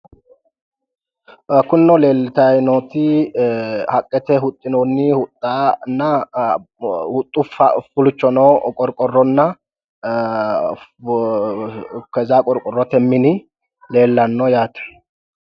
Kunino leeltayi nooti haqqete huxxinoonni huxxanna huxxaho furchono qorqqorronna, keza qorqorrote mini leellanno yaate.